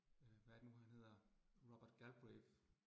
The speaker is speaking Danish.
Øh hvad er det nu han hedder Robert Galbraith